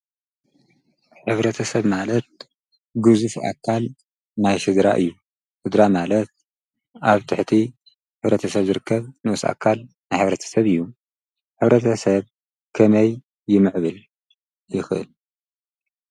ሕብርተሰብ ማለት ግዙፍ ኣካል ናይ ስድራ እዩ። ስድራ ማለት ኣብ ትሕቲ ሕብረተሰብ ዝርከብ ንኡስ ኣካል ናይ ሕብረተሰብ እዩ። ሕብረተሰብ ከመይ ይምዕብል ይክእል?